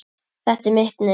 Þetta er mitt nef.